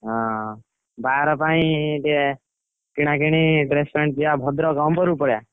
ଓହୋ ବାହାଘର ପାଇଁ ଟିକେ dress ପ୍ରେସ କିଣା କିଣି ପାଇଁ ଭଦ୍ରକ ଅମ୍ବର କୁ ପଳେଇବା।